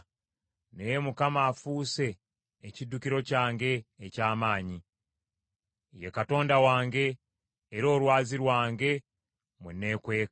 Naye Mukama afuuse ekiddukiro kyange eky’amaanyi; ye Katonda wange, era Olwazi lwange mwe neekweka.